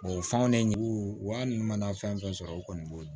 o fan ne jugu wa n mana fɛn fɛn sɔrɔ u kɔni b'o